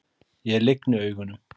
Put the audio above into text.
Ég lygni augunum.